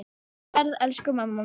Góða ferð, elsku mamma mín.